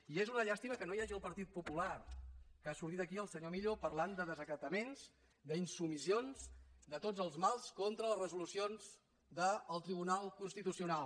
i és una llàstima que no hi hagi el partit popular que ha sortit aquí el senyor millo parlant de desacataments d’insubmissions de tots els mals contra les resolucions del tribunal constitucional